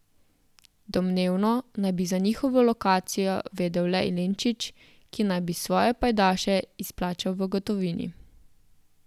Domnevno naj bi za njihovo lokacijo vedel le Ilinčić, ki naj bi svoje pajdaše izplačal v gotovini.